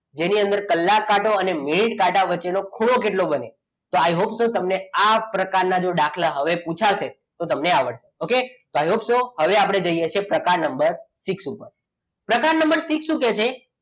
જેની અંદર કલાક કાંટો અને મિનિટ કાંટા વચ્ચેનો ખૂણો કેટલો બને? i hope so તમને આ પ્રકારના દાખલા હવે જો પૂછાશે તો તમને આવડશે. okay i hope so હવે આપણે જોઈએ છીએ પ્રકાર નંબર six ઉપર પ્રકાર નંબર six શું કહે છે?